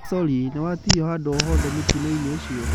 Nĩ sorĩ, nĩ watihio handũ o hoothe mũtino-inĩ ũcio.